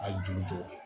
A ju jɔ